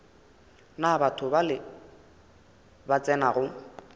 na batho bale ba tsenago